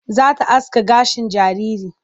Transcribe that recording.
Za ta aske gashin jaririn.